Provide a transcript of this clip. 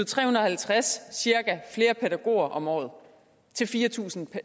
tre hundrede og halvtreds flere pædagoger om året til fire tusind